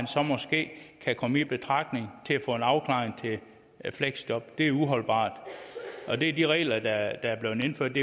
så måske kan komme i betragtning til at få en afklaring til et fleksjob det er uholdbart det er de regler der er blevet indført